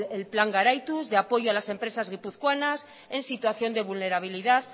el plan garaituz de apoyo a las empresas guipuzcoanas en situación de vulnerabilidad